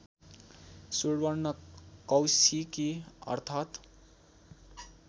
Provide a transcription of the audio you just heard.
सुवर्णकौशिकी अर्थात्